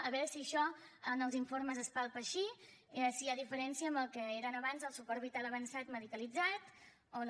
a veure si això en els informes es palpa així si hi ha diferència amb el que era abans el suport vital avançat medicalitzat o no